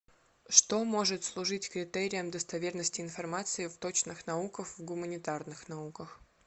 что может служить критерием достоверности информации в точных науках в гуманитарных науках